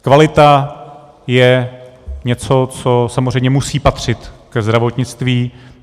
Kvalita je něco, co samozřejmě musí patřit ke zdravotnictví.